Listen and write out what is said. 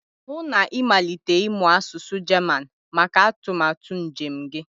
hụ na ịmalite ịmụ asụsụ German maka atụmatụ njem gị